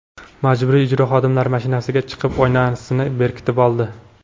Majburiy ijro xodimlari mashinasiga chiqib, oynasini berkitib oldi.